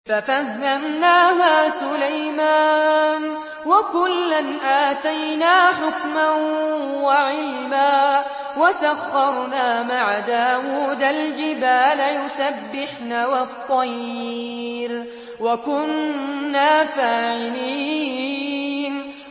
فَفَهَّمْنَاهَا سُلَيْمَانَ ۚ وَكُلًّا آتَيْنَا حُكْمًا وَعِلْمًا ۚ وَسَخَّرْنَا مَعَ دَاوُودَ الْجِبَالَ يُسَبِّحْنَ وَالطَّيْرَ ۚ وَكُنَّا فَاعِلِينَ